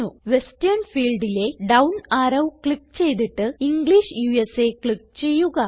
western ഫീൽഡിലെ down arrow click ചെയ്തിട്ട് English ഉസ ക്ലിക്ക് ചെയ്യുക